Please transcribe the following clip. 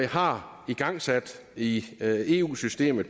har igangsat i eu systemet